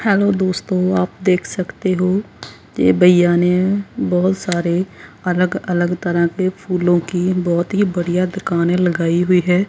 Hello दोस्तों आप देख सकते हो ये भईया ने बहुत सारे अलग अलग तरह के फूलों की बहोत ही बढ़िया दुकान लगाई हुई है।